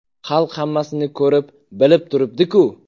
Xalq hammasini ko‘rib, bilib turibdi-ku!